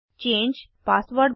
change password